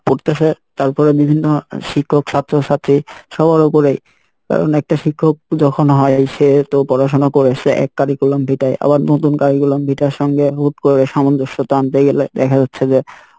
পরতেসে তার পরে বিভিন্ন শিক্ষক ছাত্র ছাত্রী সবার ওপরে কারন একটা শিক্ষক যখন হয় এসে তো পড়াশোনা করে এসে এক curriculum vitae এ আবার নতুন curriculum vitae এর সঙ্গে হুট করে সামঞ্জস্যতা আনতে গেলে দেখা যাচ্ছে যে